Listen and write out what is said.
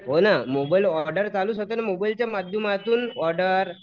हो ना mobile order चालूच होतं ना मोबाईलच्या माध्यमातून ऑर्डर